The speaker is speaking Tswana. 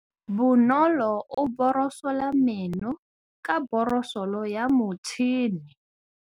Bonolô o borosola meno ka borosolo ya motšhine.